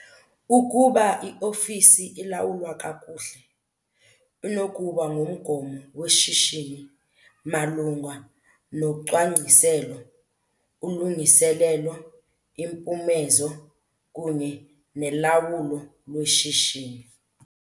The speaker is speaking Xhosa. Ukuba iofisi ilawulwa kakuhle, inokuba ngumgomo weshishini malunga nocwangciselo, ulungiselelo, impumezo kunye nelawulo lweshishini.